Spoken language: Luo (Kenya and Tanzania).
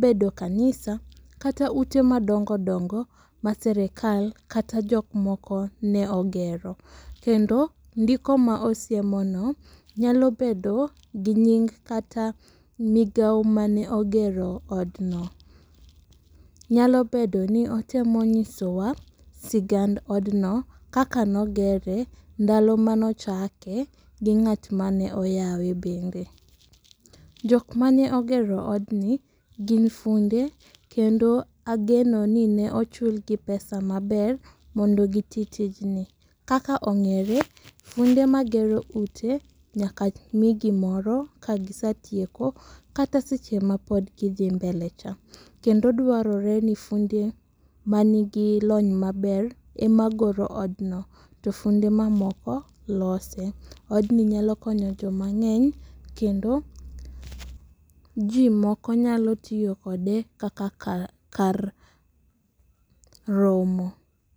bedo kanisa kata ute madongo dongo mar sirikal kata jok moko ne ogero. Kendo ndiko ma osiemono nyalo bedo gi nying kata migawo mane ogero odno. Nyalo bedo ni otemo nyisowa sigand odno kaka neo gere, ndalo mane ochake gi ng'at mane oyawe bende. Jok mane ogero odni gin funde kendo ageno ni ne ochulgi pesa maber mondo giti tijni. Kaka ong'ere funde magero ute nyaka mi gimoro kagisetieko kata seche ma pod gidhi mbele cha kendo dwarore ni funde manigi lony maber ema goro odno to funde mamoko lose. Odni nyalo konyo joma ng'eny kendo ji moko nyalo tiyo kode kaka kar kar romo